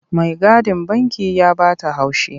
Maigadin banki ya ba ta haushi.